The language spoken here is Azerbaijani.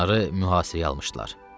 Onları mühasirəyə almışdılar.